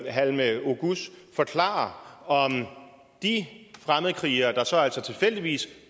halime oguz forklare om de fremmedkrigere der så altså tilfældigvis